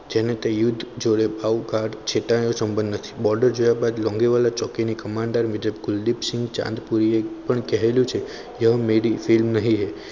જેને જે યુદ્ધ જોડે favcard ક્ષેત્ર સંબંધિત છે board જોયા બાદ લોંગેવાલા ચોકીની કમાન commander major Kuldip Singh Chandpuri એ પણ કહ્યું છે. વો મેરી film નહિ હૈ